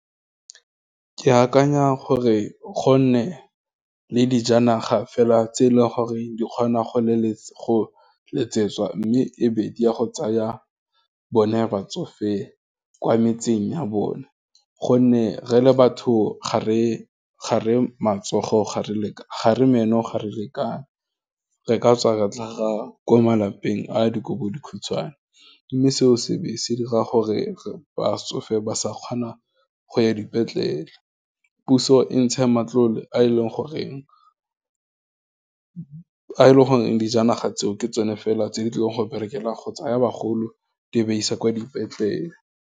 Ke akanya gore go nne le dijanaga fela tse e leng gore di kgona go letsetswa, mme e be di ya go tsaya bone batsofe kwa metseng ya bone, gonne re le batho ga re meno ga re lekane, re ka tswa re tlhaga ko malapeng a dikobodikhutshwane, mme seo, se ba se dira gore, botsofe ba sa kgona go ya dipetlele, puso e ntsheng matlole a e leng goreng dijanaga tseo, ke tsone fela tse di tlileng go berekela go tsaya bagolo, di ba isa kwa dipetlele.